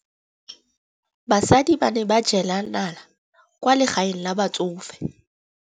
Basadi ba ne ba jela nala kwaa legaeng la batsofe.